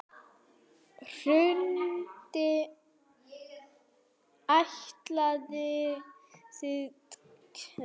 Hrund: Ætlið þið að keppa?